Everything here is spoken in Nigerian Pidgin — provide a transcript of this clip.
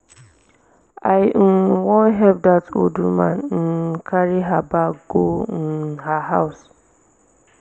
i um wan help dat old woman um carry her bag go um her house.